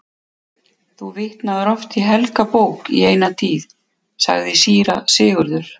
Þú vitnaðir oft í helga bók í eina tíð, sagði síra Sigurður.